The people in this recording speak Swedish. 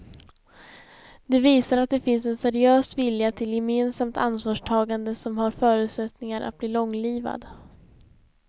Det visar att det finns en seriös vilja till gemensamt ansvarstagande som har förutsättningar att bli långlivad.